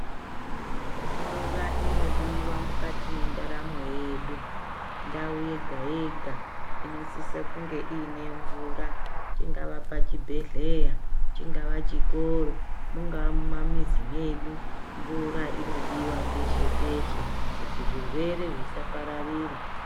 Mvura inodiwa mukati mwekupona yedu. Ndau yega yega inosisa kunge ine mvura, chingava chibhehlera, chingava chikoro, mungava mumamizi mwedu mvura inodiwa peshe peshe kuti zvirwere zvisapararira.